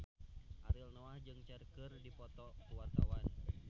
Ariel Noah jeung Cher keur dipoto ku wartawan